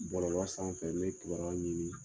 Bɔlɔlɔ sanfɛ ne bɛ kibaru ɲini